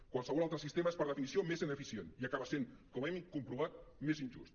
qualsevol altre sistema és per definició més ineficient i acaba sent com hem comprovat més injust